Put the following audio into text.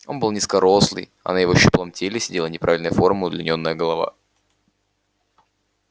он был низкорослый а на его щуплом теле сидела неправильной формы удлинённая голова